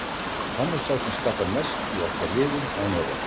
Hann er sá sem skapar mest í okkar liði, án efa.